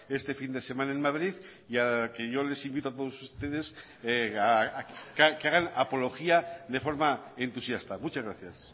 este fin de semana en madrid y al que yo les invito a todos ustedes a que hagan apología de forma entusiasta muchas gracias